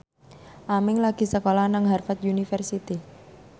Aming lagi sekolah nang Harvard university